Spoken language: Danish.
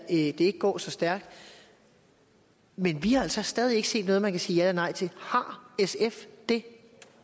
ikke går så stærkt men vi har altså stadig ikke set noget man kan sige ja eller nej til har sf det